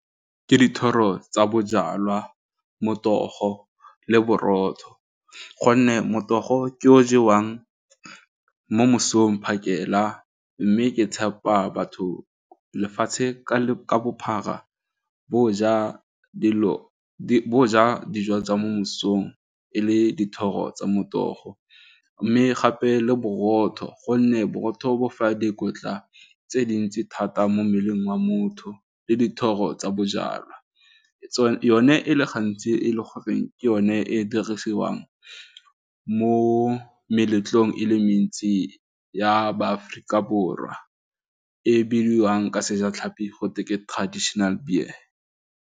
Ke dithoro tsa bojalwa, motogo, le borotho gonne motogo ke o jewang mo mosong phakela mme ke tshepa batho lefatshe ka bophara botjha dilo bo ja dijo tsa mo mosong e le dithoro tsa motogo mme gape le botho gonne borotho bo fa dikotla tse dintsi thata mo mmeleng wa motho le dithoro tsa bojalwa, yone e le gantsi e le goreng ke yone e e dirisiwang mo meletlong e le mentsi ya ba Aforika Borwa e bidiwang ka sejatlhapi gotwe ke traditional beer.